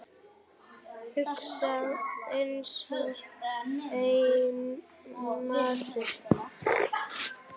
Hugsa einsog einn maður.